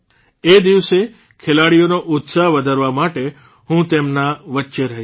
એ દિવસે ખેલાડીઓનો ઉત્સાહ વધારવા માટે હું તેમના વચ્ચે રહીશ